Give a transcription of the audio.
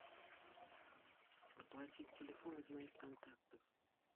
оплатить телефон из моих контактов